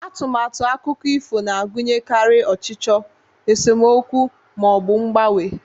Atụmatụ akụkọ ifo na-agụnyekarị ọchịchọ, esemokwu, ma ọ bụ mgbanwe.